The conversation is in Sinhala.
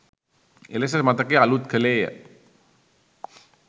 එලෙස මතකය අලූත් කළේය